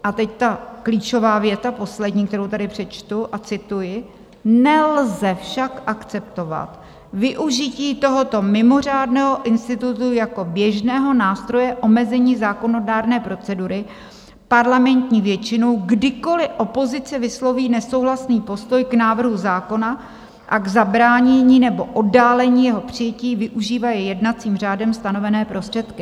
A teď ta klíčová věta - poslední, kterou tady přečtu - a cituji: "Nelze však akceptovat využití tohoto mimořádného institutu jako běžného nástroje omezení zákonodárné procedury parlamentní většinou, kdykoliv opozice vysloví nesouhlasný postoj k návrhu zákona a k zabránění nebo oddálení jeho přijetí využívají jednacím řádem stanovené prostředky."